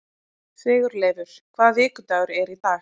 Sigurleifur, hvaða vikudagur er í dag?